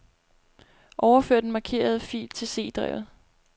Overfør den markerede fil til C-drevet.